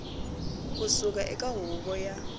ku suka eka huvo ya